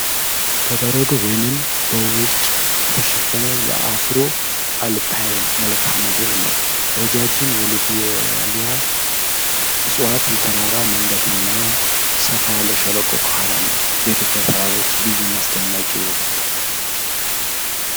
በበረዶ ወይም በውርጭ የተሸፈነ የአፍሮ-አልፓይን መልክዓ ምድርን ነው:: ረዣዥም የሎቤሊያ እፅዋት፣ የተራራ መንገድ እና ሰፋ ያለ ሸለቆ ከኋላ አለ:: የኢትዮጵያ ተራሮች ልዩና አስደናቂ ውበት!